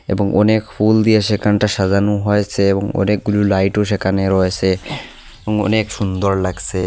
এবং অনেক ফুল দিয়ে সেখানটা সাজানো হয়েচে এবং অনেকগুলো লাইটও সেখানে রয়েসে এবং অনেক সুন্দর লাগসে।